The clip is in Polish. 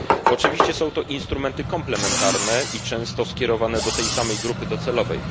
Oczywiście są to instrumenty komplementarne i często skierowane do tej samej grupy docelowej.